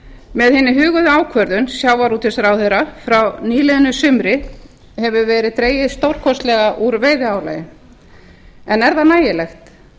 með hinni huguðu ákvörðun sjávarútvegsráðherra frá nýliðnu sumri hefur verið dregið stórkostlega úr veiðiálagi en er það nægilegt